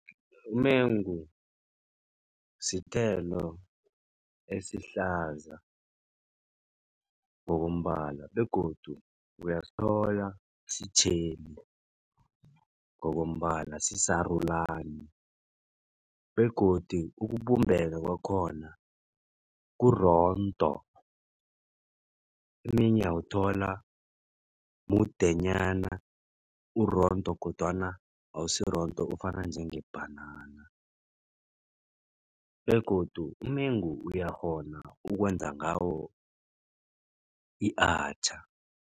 Umengu sithelo esihlaza ngokombala begodu uyasithola sitjheli ngokombala sisarulani begodu ukubumbeka kwakhona kurondo. Omunye uyawuthola mudenyana urondo kodwana awusirondo ufana njengebhanana begodu umengu uyakghona ukwenza ngawo i-atchaar.